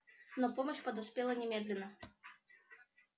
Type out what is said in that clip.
но помощь подоспела немедленно